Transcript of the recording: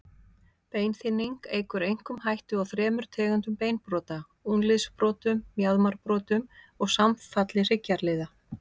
Beinþynning eykur einkum hættu á þremur tegundum beinbrota, úlnliðsbrotum, mjaðmarbrotum og samfalli hryggjarliða.